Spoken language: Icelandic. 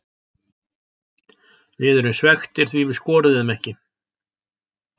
Við erum svekktir því við skoruðum ekki.